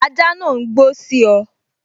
Ajá náà n gbó sí ọ